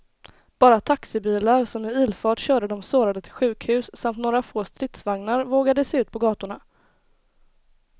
Bara taxibilar som i ilfart körde de sårade till sjukhus samt några få stridsvagnar vågade sig ut på gatorna.